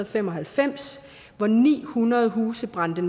fem og halvfems hvor ni hundrede huse brændte